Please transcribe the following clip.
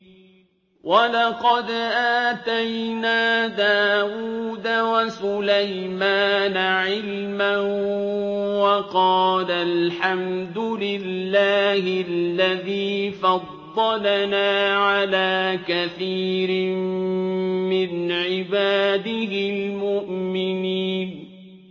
وَلَقَدْ آتَيْنَا دَاوُودَ وَسُلَيْمَانَ عِلْمًا ۖ وَقَالَا الْحَمْدُ لِلَّهِ الَّذِي فَضَّلَنَا عَلَىٰ كَثِيرٍ مِّنْ عِبَادِهِ الْمُؤْمِنِينَ